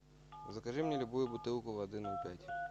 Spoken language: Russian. закажи мне любую бутылку воды ноль пять